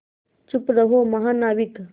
चुप रहो महानाविक